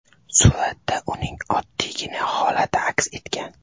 Suratda uning oddiygina holati aks etgan.